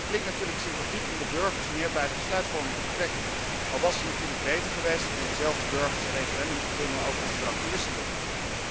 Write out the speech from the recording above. Het klinkt natuurlijk sympathiek om de burgers meer bij de besluitvorming te betrekken, al was het natuurlijk beter geweest om diezelfde burgers een referendum over het Verdrag van Lissabon te gunnen.